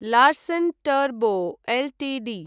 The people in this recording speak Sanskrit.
Larsen Toubro Ltd